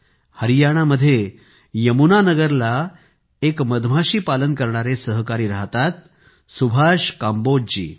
हरियाणामध्ये यमुनानगरला एक मधमाशी पालन करणारे सहकारी राहतात सुभाष कांबोजजी